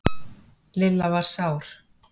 Lilla var sár.